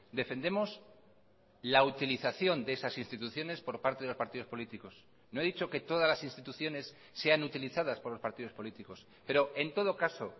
defendemos la utilización de esas instituciones por parte de los partidos políticos no he dicho que todas las instituciones sean utilizadas por los partidos políticos pero en todo caso